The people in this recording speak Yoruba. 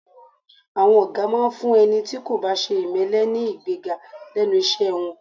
À̀wọn ọ̀gá máa ń fún ẹni tí kò bá ṣe ìmẹ́lẹ́ ní ìgbéga lẹ́nu iṣẹ́ wọn